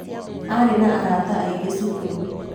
Aarĩ na arata aingĩ cukuru.